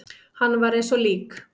Hann var eins og lík.